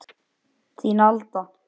Þín Alda